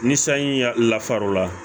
Ni sanji ya lafar'o la